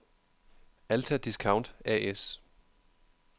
Alta Discount A/S